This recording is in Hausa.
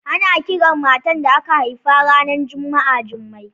Ana kiran matar da aka haifa ranar Juma'a Jummai